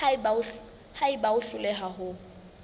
ha eba o hloleha ho